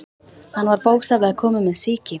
Hann var bókstaflega kominn með sýki.